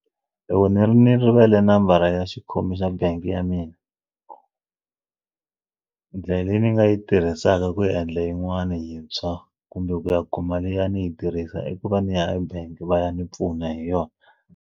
Loko ni ri ndzi rivele nambara ya xikhomi xa bangi ya mina ndlela leyi ni nga yi tirhisaka ku endla yin'wana yintshwa kumbe ku ya kuma liya ni yi tirhisa i ku va ni ya ebank va ya ni pfuna hi yona.